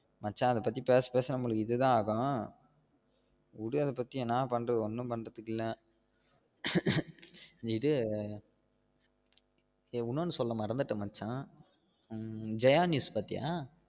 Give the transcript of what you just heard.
மச்சா அத பத்தி பேச பேச நமக்கு இதுதா ஆகும் விடு அதபத்தி என்னா பண்றது ஒன்னு பண்றத்துக்கு இல்ல விடு இன்னொன்னு சொல்ல மறந்துட்டே மச்சா உம் ஜெயா news பாத்தியா